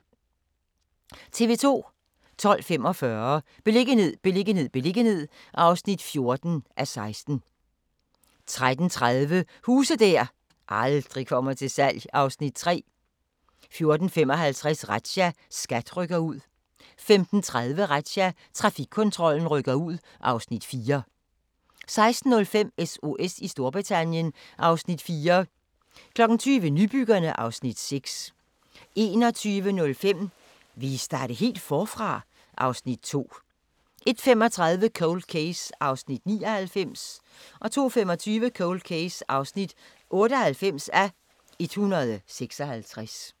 12:45: Beliggenhed, beliggenhed, beliggenhed (14:16) 13:30: Huse der aldrig kommer til salg (Afs. 3) 14:55: Razzia - SKAT rykker ud 15:30: Razzia – Trafikkontrollen rykker ud (Afs. 4) 16:05: SOS i Storbritannien (Afs. 4) 20:00: Nybyggerne (Afs. 6) 21:05: Vil I starte helt forfra? (Afs. 2) 01:35: Cold Case (99:156) 02:25: Cold Case (98:156)*